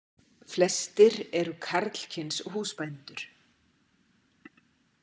Flestir eru karlkyns húsbændur.